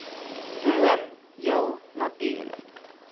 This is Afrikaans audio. droom heel natuurlik